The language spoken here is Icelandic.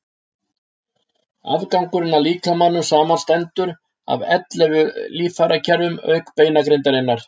afgangurinn af líkamanum samanstendur af ellefu líffærakerfum auk beinagrindarinnar